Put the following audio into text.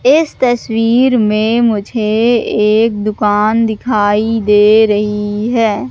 इस तस्वीर में मुझे एक दुकान दिखाई दे रही है।